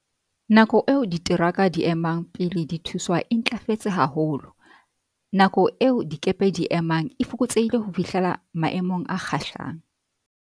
Nako eo diteraka di e emang pele di thuswa e ntlafetse ha holo. Nako eo dikepe di e emang e fokotsehile ho fihlela maemong a kgahlang.